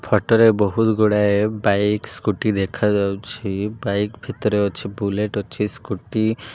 ଫଟ ରେ ବୋହୁତ୍ ଗୁଡ଼ାଏ ବାଇକ୍ ସ୍କୁଟି ଦେଖାଯାଉଛି ବାଇକ୍ ଭିତରେ ଅଛି ବୁଲେଟ୍ ଅଛି ସ୍କୁଟି --